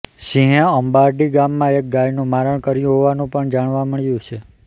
સિંહે અંબારડી ગામમાં એક ગાયનું મારણ કર્યું હોવાનું પણ જાણવા મળ્યું છે